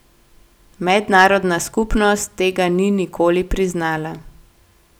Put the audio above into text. Mednarodna skupnost tega ni nikoli priznala.